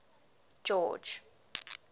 george